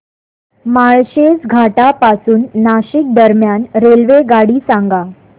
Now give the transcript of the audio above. माळशेज घाटा पासून नाशिक दरम्यान रेल्वेगाडी सांगा